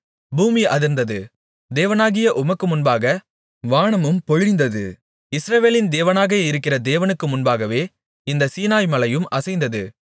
பூமி அதிர்ந்தது தேவனாகிய உமக்கு முன்பாக வானமும் பொழிந்தது இஸ்ரவேலின் தேவனாக இருக்கிற தேவனுக்கு முன்பாகவே இந்தச் சீனாய்மலையும் அசைந்தது